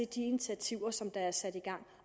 de initiativer der er sat i gang